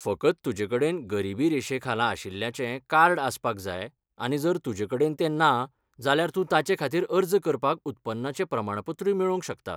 फकत तुजेकडेन गरिबी रेशेखाला आशिल्ल्याचें कार्ड आसपाक जाय आनी जर तुजेकडेन तें ना, जाल्यार तूं ताचेखातीर अर्ज करपाक उत्पन्नाचें प्रमाणपत्रूय मेळोवंक शकता.